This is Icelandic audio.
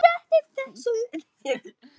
Mér fannst við bara miklu betri í seinni hálfleik.